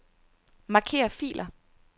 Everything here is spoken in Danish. Marker filer.